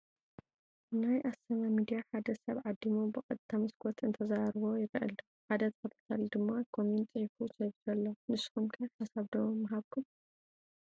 ናይ ኣሰና ሚድያ ሓደ ሰብ ዓዲሙ ብቐጥታ መስኮት እንተዘራርቦ ይረአ ኣሎ፡፡ ሓደ ተኸታታሊ ድማ ኮሜንት ፂሒፉ ሰዲዱ ኣሎ፡፡ ንስኹም ከ ሓሳብ ዶ ንሃብኩም?